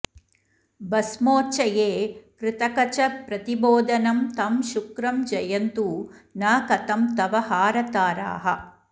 भस्मोच्चये कृतकचप्रतिबोधनं तं शुक्रं जयन्तु न कथं तव हारताराः